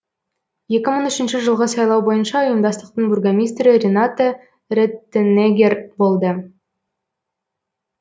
екі мың үшінші жылғы сайлау бойынша ұйымдастықтың бургомистрі ренате реттенеггер болды